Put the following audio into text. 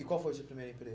E qual foi o seu primeiro